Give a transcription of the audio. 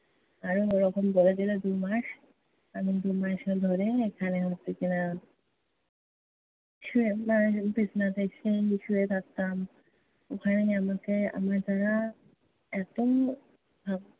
আরো ওরকম বলে দিলো দুই মাস। আমি দুই মাস ধরে এখানে হচ্ছে কি-না শুয়ে মানে বিছনাতে শুয়ে থাকতাম। ওখানেই আমাকে আমায় তারা এতো